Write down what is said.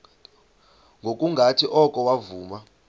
ngokungathi oko wavuma